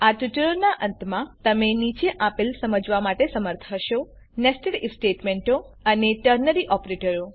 આ ટ્યુટોરીયલના અંતમાં તમે નીચે આપેલ સમજાવવા માટે સમર્થ હશો nested આઇએફ સ્ટેટમેંટો અને ટર્નરી ઓપરેટરો